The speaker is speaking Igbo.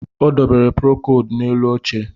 Ọ debere prokodu n'elu oche